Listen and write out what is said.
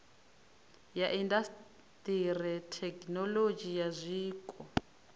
ya indasiṱiri thekinolodzhi ya zwiko